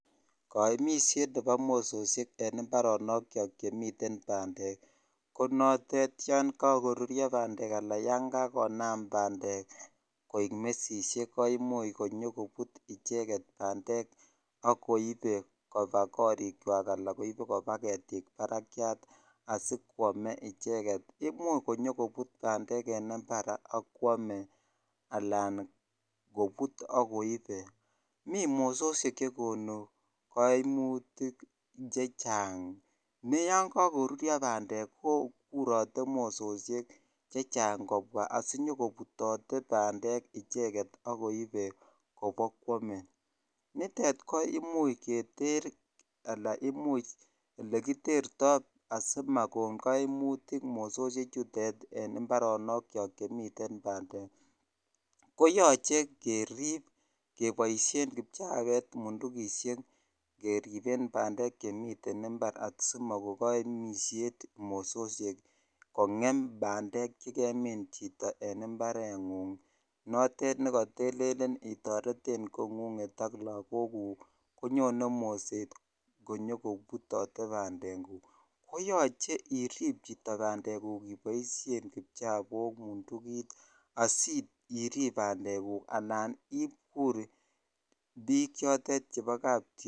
Kooimisiet nebo mososiek en mbaronokiok chemiten bandek konotet yoon kokurio bandek laa yoon kakonam bandek koik mesishek ko imuch konyokobut icheket bandek ak koibe kobaa korikwak alaa koibe kobaa ketik barakiat asikwome icheket, imuch konyo kobut bandek en imbar ak kwomee alaan kobut ak koibe, mii mososiek chekonu koimutik chechang nee yoon kokoruryo bandek ko kurote mososiek chechang kobwaa asinyo kobutote bandek icheket ak koibe kobokwome, nitet ko imuch keter alaan kimuch elekiterto asimakon koimutik mososie chutet en imbaronokiok chemiten bandek ko yoche kerib keboishen kipchabet, mundukishek keriben bandek chemiten imbar asimoko koimishet mososiek kong'em bandek chekemin chito en imbar ng'ung notet nekotelelen itoreten kong'ung'et ak lokokuk konyone moset konyoko butote bandekuk, koyoche iriib chito bandekuk iboishen kipchabok, mundukit, asiirib bandekuk anaan ikur biiik chotet chebo kaptiongin.